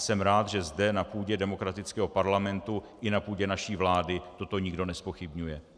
Jsem rád, že zde na půdě demokratického parlamentu i na půdě naší vlády toto nikdo nezpochybňuje.